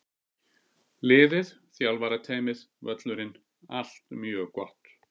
Liðið, þjálfarateymið, völlurinn- allt mjög gott!